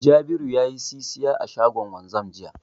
Jabiru ya yi sisiya a shagon wanzan jiya.